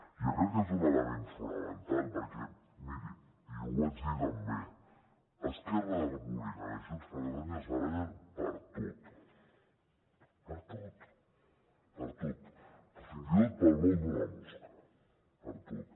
jo crec que és un element fonamental perquè miri i jo ho vaig dir també esquerra republicana i junts per catalunya es barallen per tot per tot fins i tot pel vol d’una mosca per tot